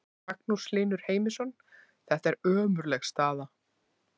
Magnús Hlynur Heimisson: Þetta er ömurleg staða?